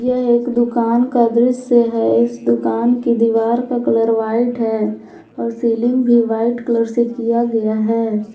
यह एक दुकान का दृश्य है इस दुकान की दीवार का कलर व्हाइट है और सीलिंग भी वाइट कलर से किया गया है।